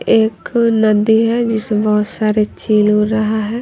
एक नदी है जिसमें बहोत सारे चिल उड़ रहा है।